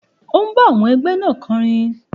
Ó ń bá àwọn ẹgbẹ́ náà kọ orin.